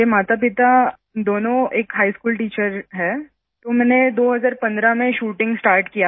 मेरे मातापिता दोनों एक हिघ स्कूल टीचर हैं तो मैंने 2015 में शूटिंग स्टार्ट किया